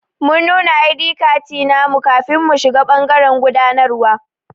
Mun nuna i.d katti namu kafin mu shiga bangaren gudanarwa.